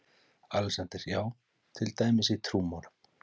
ALEXANDER: Já, til dæmis í trúmálum?